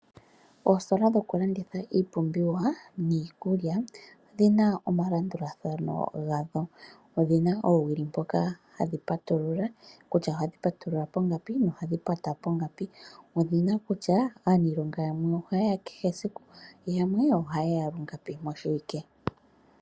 Oositola dhokulanditha iipumbiwa niikulya odhina omalandulathano gadho. Odhina oowili mpoka hadhi patulula kutya ohadhi patulula pongapi nohadhi pata pongapi. Odhina kutya aanilonga yamwe oha yeya kehe esiku yamwe oha yeya lungapi moshiwike.